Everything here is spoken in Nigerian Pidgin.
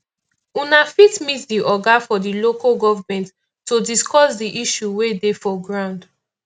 una fit meet di oga for di local government to discuss di issue wey dey for ground